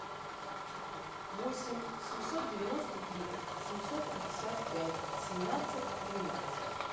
восемь семьсот девяносто три семьсот пятьдесят пять семнадцать двенадцать